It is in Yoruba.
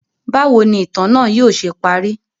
Bawo ni itan naa yóò ṣe pari?